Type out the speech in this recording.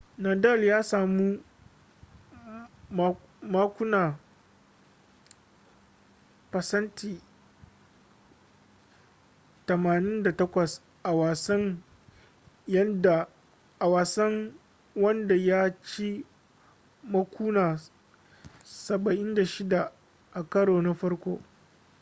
nadal ya sami makuna 88% a wasan wanda ya ci makuna 76 a karo na farko